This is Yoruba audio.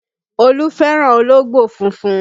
Olú fẹ́ràn ológbò funfun